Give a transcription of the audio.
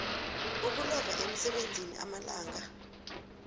ukulova emsebenzini amalanga